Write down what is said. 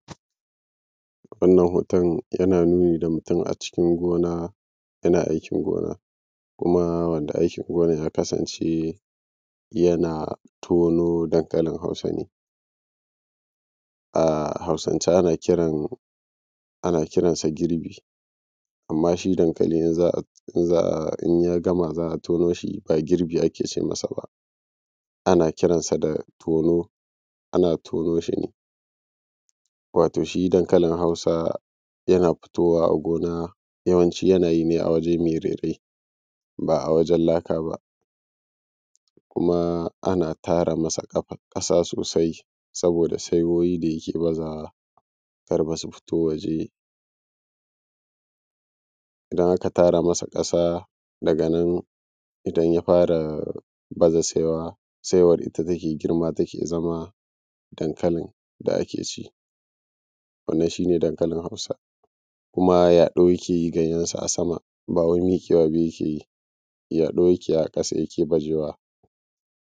wannan hoton yana nuni da mutum a cikin gona yana aikin gona kuma wanda yake gonan ya kasance yana tono dankalin hausa ne a hausance ana kiransa girbi amma shi dankali in za a in za a in ya gama za a tono shi ba girbi ake ce masa ba ana kiransa da tono ana tono shi ne wato shi dankalin hausa yana fitowa a gona yawanci yana yi ne a waje mai rairayi ba a wajen laka ba kuma ana tara masa ƙasa sosai saboda saiwoyi da yake bazawa kar fa su fito waje idan aka tara masa ƙasa daga nan idan ya fara baza saiwa saiwar ita take girma ta zama dankalin da ake ci wannan shi ne dankalin hausa kuma yaɗo yake yi ganyensa a sama ba wai mimmiƙewa ba yake yi yaɗo yake yi a ƙasa yake bajewa